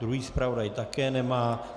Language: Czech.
Druhý zpravodaj také nemá.